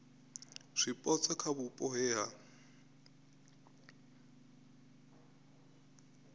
zwipotso kha vhupo he ha